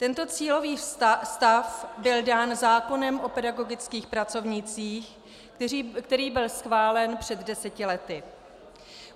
Tento cílový stav byl dán zákonem o pedagogických pracovnících, který byl schválen před deseti lety.